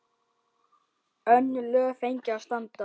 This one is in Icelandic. Önnur lög fengju að standa.